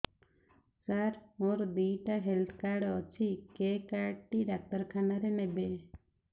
ସାର ମୋର ଦିଇଟା health card ଅଛି କେ କାର୍ଡ ଟି ଡାକ୍ତରଖାନା ରେ ନେବେ